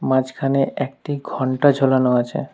মাঝখানে একটি ঘন্টা ঝোলানো আছে।